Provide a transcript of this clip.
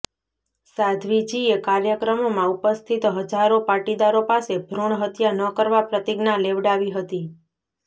સાધ્વીજીએ કાર્યક્રમમાં ઉપસ્થિત હજારો પાટીદારો પાસે ભ્રૂણ હત્યા ન કરવા પ્રતિજ્ઞા લેવડાવી હતી